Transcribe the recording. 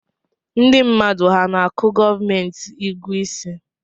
Ndi mmadụ ha ana-akụ gomenti ụgụ isi